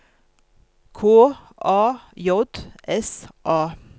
K A J S A